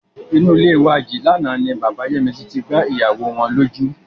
Inú ilé wa yìí lánàá ni bàbá Yẹ́misí tí gbá ìyàwó wọn lójú.